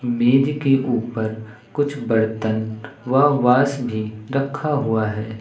मेज के ऊपर कुछ बर्तन व वास भी रखा हुआ हैं।